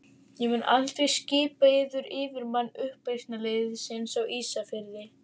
Ég mun aldrei skipa yður yfirmann uppreisnarliðsins á Ísafirði.